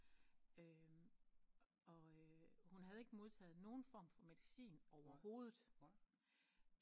Og hun havde ikke modtaget nogen form for medicin overhovedet